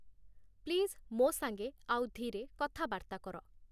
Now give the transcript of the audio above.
please ମୋ ସାଙ୍ଗେ ଆଉ ଧୀରେ କଥାବାର୍ତ୍ତା କର